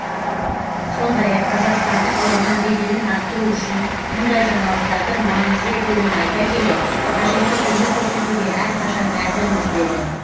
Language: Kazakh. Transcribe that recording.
сондай ақ қазақстандық ғылымның беделін арттыру үшін мұндай жаңалықтардың маңызды екенін айта келе қажетті көмек көрсетуге әрқашан әзірміз деді